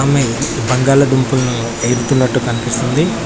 మి ఈ బంగాళదుంపలను ఏరుతున్నట్టు కనిపిస్తుంది.